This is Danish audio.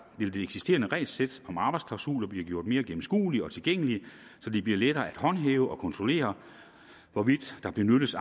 eksisterende regelsæt om arbejdsklausuler blive gjort mere gennemskueligt og tilgængeligt så det bliver lettere at håndhæve og kontrollere hvorvidt der benyttes